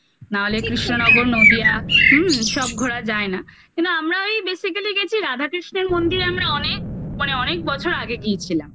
নাহলে কৃষ্ণনগর নদীয়া হুম সব ঘোরা যায় না কিন্তু আমরা ওই basically গেছি রাধা কৃষ্ণের মন্দিরে আমরা অনেক মানে অনেক বছর আগে গিয়েছিলাম